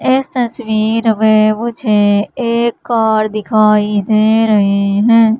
इस तस्वीर में मुझे एक कार दिखाई दे रही है।